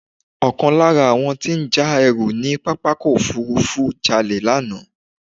Ọkàn lára àwọn tí ó ń já ẹrú ní pápákọ̀ òfúrúfú jalè lánàá.